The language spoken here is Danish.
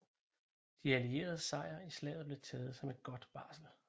De allieredes sejr i slaget blev taget som et godt varsel